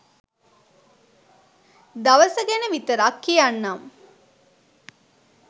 දවස ගැන විතරක් කියන්නම්